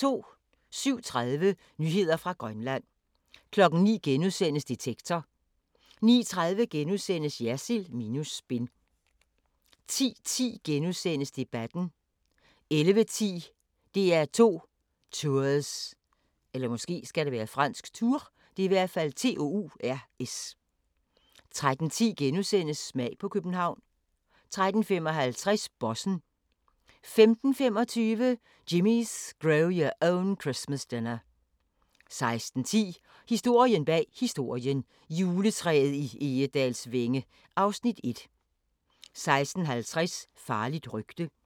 07:30: Nyheder fra Grønland 09:00: Detektor * 09:30: Jersild minus spin * 10:10: Debatten * 11:10: DR2 Tours 13:10: Smag på København * 13:55: Bossen 15:25: Jimmy's Grow Your Own Christmas Dinner 16:10: Historien bag historien: Juletræet i Egedalsvænge (Afs. 1) 16:50: Farligt rygte